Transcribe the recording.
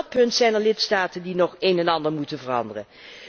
Ook op dat punt zijn er lidstaten die nog een en ander moeten veranderen.